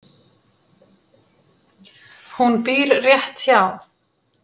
Hún býr rétt hjá.